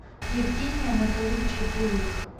евгения анатольевича белых